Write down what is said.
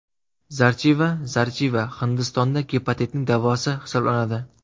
Zarchiva Zarchiva Hindistonda gepatitning davosi hisoblanadi.